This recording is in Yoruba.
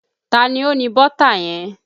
Ta ni ó ní bọ́tà yẹn?